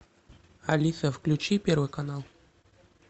алиса включи первый канал